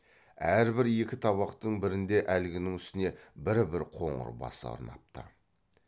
әрбір екі табақтың бірінде әлгінің үстіне бір бір қоңыр бас орнапты